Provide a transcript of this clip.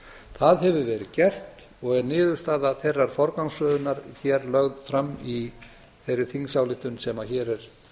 það hefur verið gert og er niðurstaða þeirrar forgangsröðunar hér lögð fram í þeirri þingsályktun sem hér er